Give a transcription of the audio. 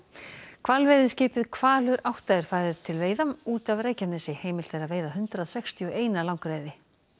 hvalveiðiskipið Hvalur átta er farið til veiða út af Reykjanesi heimilt er að veiða hundrað sextíu og eina langreyði